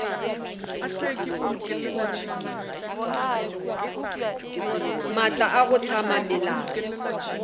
maatla a go hlama melao